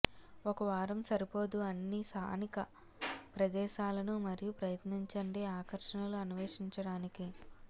ఒక వారం సరిపోదు అన్ని స్థానిక ప్రదేశాలను మరియు ప్రయత్నించండి ఆకర్షణలు అన్వేషించడానికి